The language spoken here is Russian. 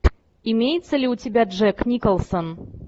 имеется ли у тебя джек николсон